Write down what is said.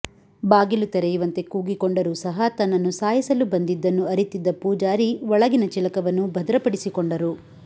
ಬಾಗಿಲು ತೆರೆಯುವಂತೆ ಕೂಗಿಕೊಂಡರು ಸಹ ತನ್ನನ್ನು ಸಾಯಿಸಲು ಬಂದಿದ್ದನ್ನು ಅರಿತಿದ್ದ ಪೂಜಾರಿ ಒಳಗಿನ ಚಿಲಕವನ್ನು ಭದ್ರಪಡಿಸಿಕೊಂಡರು